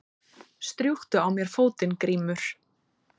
Strjúktu á mér fótinn Grímur.